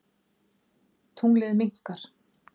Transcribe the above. Tunglið minnkar.